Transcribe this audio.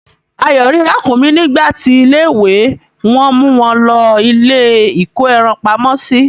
Ayo rí Ràkúnmí nígbà ti ilé ìwé wan mu won lòó ilé iko ẹran pamó si